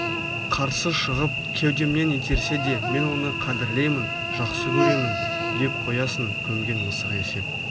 қарсы шығып кеудемнен итерсе де мен оны қадірлеймін жақсы көремін деп қоясын көмген мысық есеп